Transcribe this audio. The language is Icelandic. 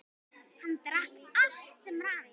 Hann drakk allt sem rann.